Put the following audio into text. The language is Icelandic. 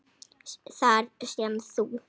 Þar sem þú